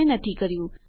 જોડાવા બદ્દલ આભાર